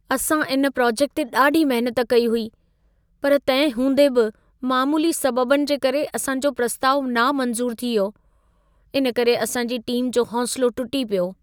असां इन प्रोजेक्ट ते ॾाढी महिनत कई हुई, पर तंहिं हूंदे बि मामूली सबबनि जे करे असां जो प्रस्तावु नामंज़ूर थी वियो। इन करे असांजी टीम जो हौसलो टुटी पियो।